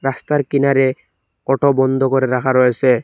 রাস্তার কিনারে অটো বন্দ করে রাখা রয়েসে।